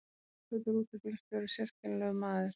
Jökull rútubílstjóri sérkennilegur maður.